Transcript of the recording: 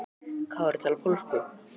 Kári talar pólsku.